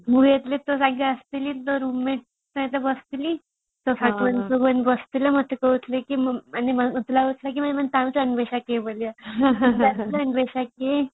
ମୁଁ ଯେବେ ତୋ ସାଙ୍ଗରେ ଆସିଥିଲି ତୋ roommate ସହିତ ବସିଥିଲି ତୋ ବସିଥିଲା ମତେ କହୁଥିଲା କି ମାନେ ମତେ ଲାଗୁଥିଲା କି ବୋଳିକା